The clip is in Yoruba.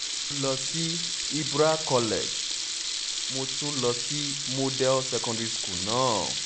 mo lọ sí ibra college mo tún lọ sí cs] model secondary school náà